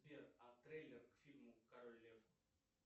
сбер а трейлер к фильму король лев